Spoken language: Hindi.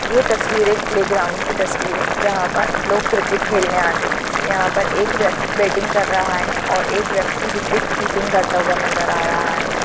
ये तस्वीरे एक प्लेग्राउंड की तस्वीर है जहा पर लोग क्रिकेट खेलने आते है यहाँ पर एक व्यक्ति बटिंग कर रहा है और एक व्यकती विकेट्किपिंग करता हुआ नजर आ रहा है।